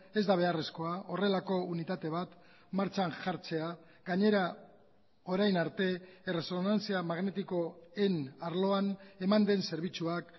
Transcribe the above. ez da beharrezkoa horrelako unitate bat martxan jartzea gainera orain arte erresonantzia magnetikoen arloan eman den zerbitzuak